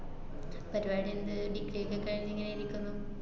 പരിപാടിയെന്ത് degree എക്കെ കഴിഞ്ഞിങ്ങനെ ഇരിക്കുന്നു.